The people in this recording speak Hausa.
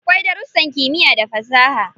Akwai darussan kimiyya da fasaha.